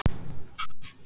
Fimm slíkar eru í notkun.